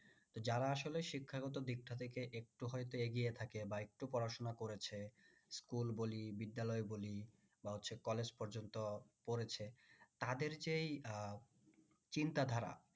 তো যারা আসলে শিক্ষাগত দিকটা থেকে একটু হইত এগিয়ে থাকে বা একটু পড়াশোনা করেছে school বলি বিদ্যালয় বলি বা হচ্ছে college পর্যন্ত পড়েছে তাদের যে এই আহ চিন্তা ধারা।